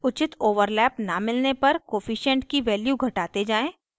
उचित overlap न मिलने तक कोअफिशन्ट की value घटाते जाएँ